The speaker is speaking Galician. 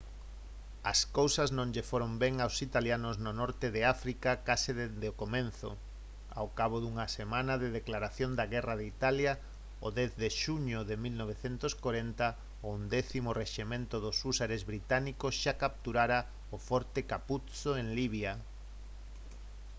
as cousas non lles foron ben aos italianos no norte de áfrica case desde o comezo. ao cabo dunha semana da declaración de guerra de italia o 10 de xuño de 1940 o 11.º rexemento dos húsares británicos xa capturara o forte capuzzo en libia